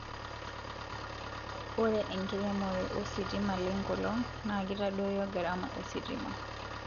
ore enkiremore o sitima le nkelong naa kitadoyio gharama ositima